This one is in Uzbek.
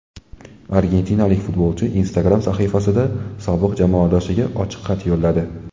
Argentinalik futbolchi Instagram sahifasida sobiq jamoadoshiga ochiq xat yo‘lladi .